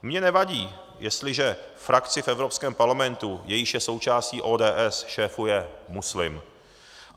Mně nevadí, jestliže frakci v Evropském parlamentu, jejíž je součástí ODS, šéfuje muslim.